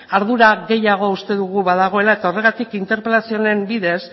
ardura gehiago badagoela uste dugu eta horregatik interpelazio honen bidez